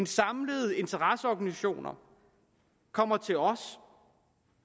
samlede interesseorganisationer kommer til os